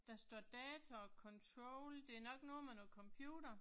Der står date og control det er nok noget med noget computer